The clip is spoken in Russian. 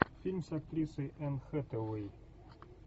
фильм с актрисой энн хэтэуэй